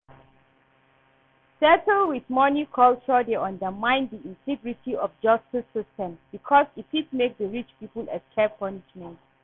settle with money culture dey undermine di integrity of justice system because e fit make di rich people escape punishment.